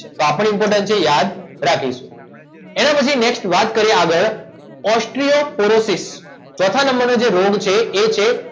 તો આ પણ ઇમ્પોર્ટન્ટ છે યાદ રાખીશું એના પછી નેક્સ્ટ વાત કરીએ આગળ ઓસ્ટ્રીઓ પોરોસિસ ચોથા નંબરનો જે રોગ છે એ છે